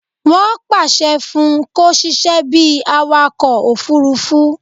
Wọ́n pàṣẹ fún un kó sisẹ́ bíi awakọ̀ òfurufú